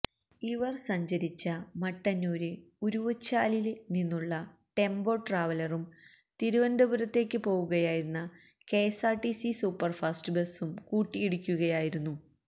ഇവര് സഞ്ചരിച്ച മട്ടന്നൂര് ഉരുവച്ചാലില് നിന്നുള്ള ടെമ്പോ ട്രാവലറും തിരുവനന്തപുരത്തേക്ക് പോവുകയായിരുന്ന കെഎസ്ആര്ടിസി സൂപ്പര്ഫാസ്റ്റ് ബസും കൂട്ടിയിടിക്കുകയായിരുന്നു